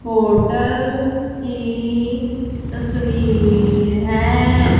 Hotel की तस्वीर है।